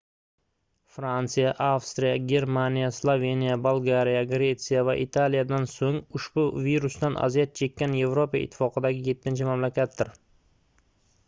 fransiya avstriya germaniya sloveniya bolgariya gretsiya va italiyadan soʻng ushbu virsdan aziyat chekkan yevropa ittifoqidagi yettinchi mamlakatdir